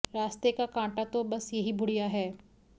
रास्ते का कांटा तो बस यही बुढिय़ा है